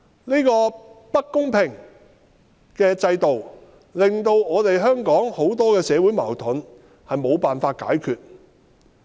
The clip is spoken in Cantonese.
這個不公平的制度，導致香港許多社會矛盾無法解決。